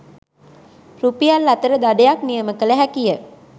රුපියල්–අතර දඩයක් නියම කළ හැකිය